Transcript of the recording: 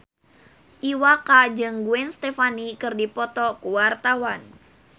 Iwa K jeung Gwen Stefani keur dipoto ku wartawan